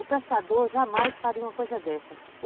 O pescador jamais faria uma coisa dessa.